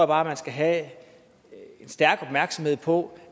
bare at man skal have en stærk opmærksomhed på